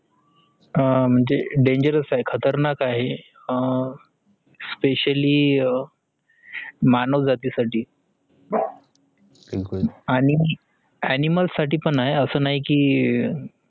अह dangerous आहे खतरनाक आहे अह specially अह मानव जाती साठी आणि animal साठी पण आहे असा नाही की